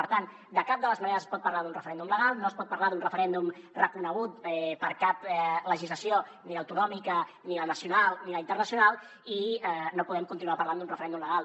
per tant de cap de les maneres es pot parlar d’un referèndum legal no es pot parlar d’un referèndum reconegut per cap legislació ni l’autonòmica ni la nacional ni la internacional i no podem continuar parlant d’un referèndum legal